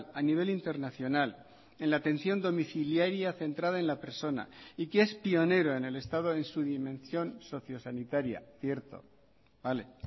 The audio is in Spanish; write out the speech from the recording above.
a nivel internacional en la atención domiciliaria centrada en la persona y que es pionero en el estado en su dimensión socio sanitaria cierto vale